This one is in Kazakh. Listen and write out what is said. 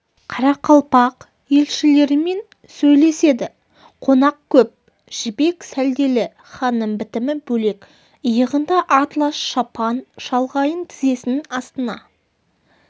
қарақалпақ елшілерімен сөйлеседі қонақ көп жібек сәлделі ханның бітімі бөлек иығында атлас шапан шалғайын тізесінің астына